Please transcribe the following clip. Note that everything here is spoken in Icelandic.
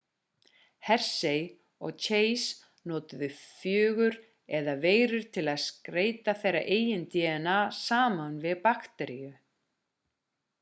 hershey og chase notuðu fögur eða veirur til að skeyta þeirra eigin dna saman við bakteríu